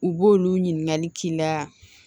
U b'olu ɲininkali k'i la